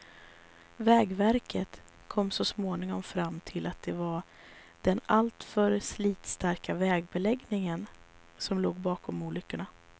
Vägverket kom så småningom fram till att det var den alltför slitstarka vägbeläggningen som låg bakom olyckorna.